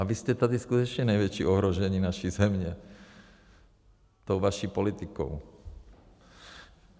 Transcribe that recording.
A vy jste tady skutečně největší ohrožení naší země tou vaší politikou.